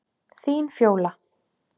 Þín Fjóla.